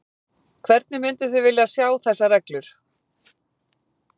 Hvernig mynduð þið vilja sjá þessar reglur?